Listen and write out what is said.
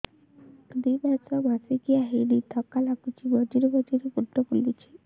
ଦୁଇ ମାସ ମାସିକିଆ ହେଇନି ଥକା ଲାଗୁଚି ମଝିରେ ମଝିରେ ମୁଣ୍ଡ ବୁଲୁଛି